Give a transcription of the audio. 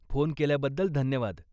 Phone केल्याबद्दल धन्यवाद.